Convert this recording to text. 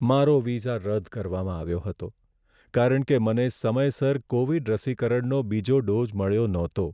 મારો વિઝા રદ કરવામાં આવ્યો હતો કારણ કે મને સમયસર કોવિડ રસીકરણનો બીજો ડોઝ મળ્યો નહતો.